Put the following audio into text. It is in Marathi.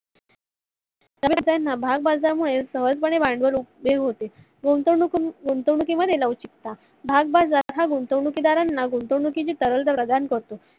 भागबाजरा मुळे सहज पाने भांडवल उपलब्ध होते. गुंतवणूक गुंतवणूक ते मध्ये लवचिकता भागबाजरा हा गुंतवणूक दारांना गुंतवणुकीची करतो.